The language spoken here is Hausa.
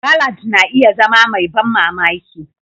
Ballad na iya zama mai ban mamaki.